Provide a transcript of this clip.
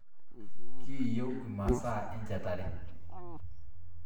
Kiyieu imasaa enchetare